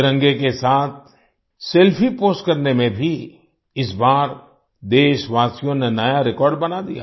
तिरंगे के साथ सेल्फी पोस्ट करने में भी इस बार देशवासियों ने नया रेकॉर्ड बना दिया